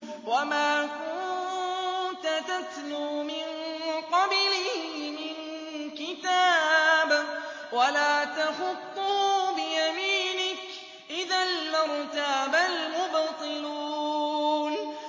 وَمَا كُنتَ تَتْلُو مِن قَبْلِهِ مِن كِتَابٍ وَلَا تَخُطُّهُ بِيَمِينِكَ ۖ إِذًا لَّارْتَابَ الْمُبْطِلُونَ